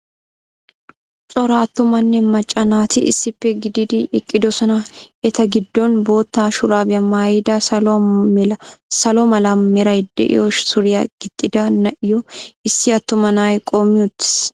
Cora attumanne macca naati issippe gididi eqqidosona. Eta giddon boottaa shuraabiya maayada salo mala meray de'iyo suriya gixxida na'iyo issi attuma na'ay qoommi uttiis.